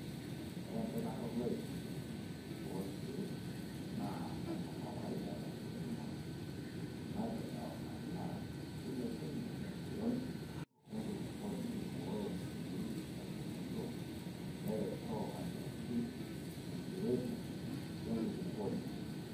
Ore empikata oloip oorkiek naa enekawaida tenkiremore naipirta olmanyara, neilepunyie empiron enkulupuoini neiboyoo sii nkaitubulu neretoo aitoki enkirebuk enkulupuoni.